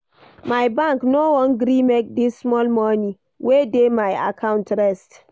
My bank no wan gree make di small moni wey dey my account rest.